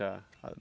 Já